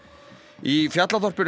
í